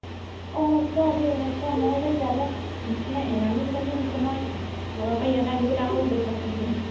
অ সচা দেই সচা মই যে ইয়ালে PCI এৰানো কিমান দিন হৈছিলে মই ঘৰৰ পৰা ইয়ালে আহিবলে আকৌ পইচা ল'ব লাগা হৈছিলে